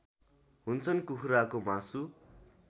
हुन्छन् कुखुराको मासु